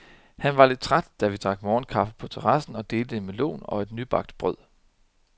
Han var lidt træt, da vi drak morgenkaffe på terrassen og delte en melon og et nybagt brød.